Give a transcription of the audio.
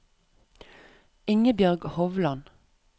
Ingebjørg Hovland